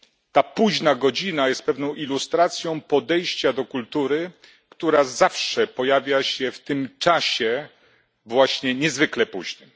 Ta późna godzina jest pewną ilustracją podejścia do kultury, która zawsze pojawia się w tym czasie, właśnie niezwykle późnym.